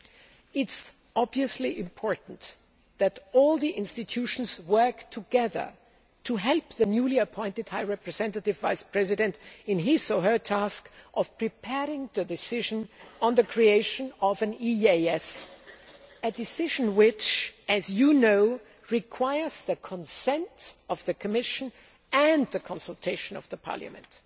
It is obviously important that all the institutions work together to help the newly appointed High Representative Vice President in his or her task of preparing the decision on the creation of an EEAS a decision which, as you know, requires the consent of the Commission and the consultation of Parliament.